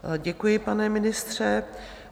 Děkuji, pane ministře.